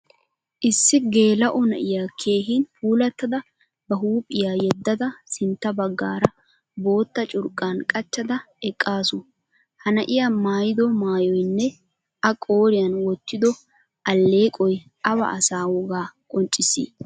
Issi geelao na'iyaa keehin puulatada ba huuphphiyaa yedada sintta baggaara bootta curqqan qachchada eqqasu. Ha na'iyaa maayido maayoynne a qoriyan wottido alleqoy awa asaa wogaa qonccisi?